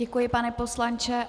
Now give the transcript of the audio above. Děkuji, pane poslanče.